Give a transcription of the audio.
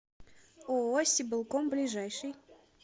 ооо сибэлком ближайший